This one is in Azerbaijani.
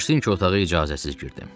Bağışlayın ki, otağa icazəsiz girdim.